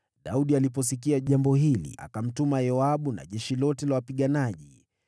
Daudi aliposikia jambo hili, akamtuma Yoabu na jeshi lote la wapiganaji.